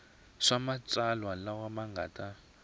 swa matsalwa lama nga ta